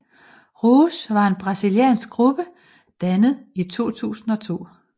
Rouge var en brasiliansk gruppe dannet i 2002